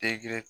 Tegere